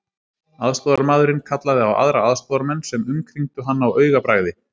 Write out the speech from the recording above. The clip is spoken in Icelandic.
Aðstoðarmaðurinn kallaði á aðra aðstoðarmenn sem umkringdu hann á augabragði.